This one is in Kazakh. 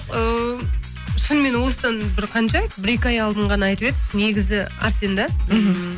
ыыы шынымен осыдан бір қанша бір екі ай алдын ғана айтып еді негізі әрсен де ммм